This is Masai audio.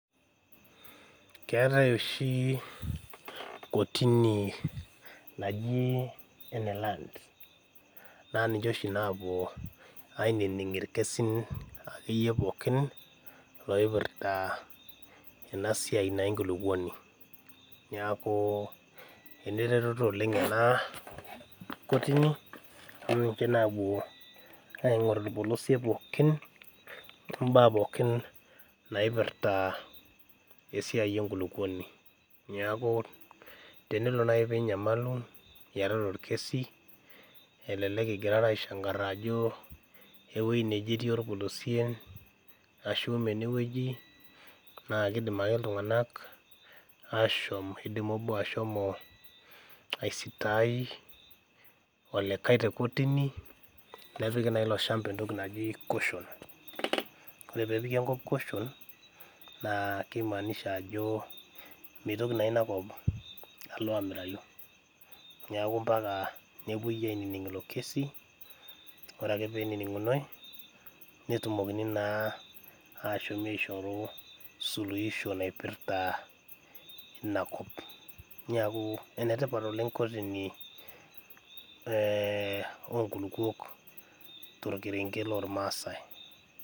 Keetae oshi kotini naji ene land naa ninche oshi naapuo ainining irkesin akeyie pookin loipirrta ena siai naa enkulupuoni niaku eneretoto oleng ena kotini amu ninche naapuo aing'orr irpolosie pooki ombaa pookin naipirrta esiai enkulukuoni niaku tenelo naaji pinyamalu iyatata orkesi elelek ingirara aishankarra ajo ewueji neje etii orpolosien ashu imee enewueji naa kidim ake iltung'anak aashom kidim obo ashomo aisitai olikae te kotini nepiki naa ilo shamba entoki naji caution ore peepiki enkop caution naa kimaanisha ajo mitoki naa inakop alo amirayu niaku mpaka nepuoi ainining ilo kesi ore ake penining'unoi netumokini naa ashomi aishoru suluhisho naipirrta inakop niaku enetipat oleng kotini eh onkulukuok torkerenget lormasae.